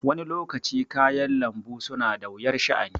Wani lokacin kayan lanbu suna da wuyar sha' ani